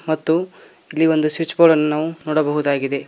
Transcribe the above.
ಮತ್ತು ಇಲ್ಲಿ ಒಂದು ಸ್ವಿಚ್ ಬೋರ್ಡನ್ನು ನಾವು ನೋಡಬಹುದಾಗಿದೆ.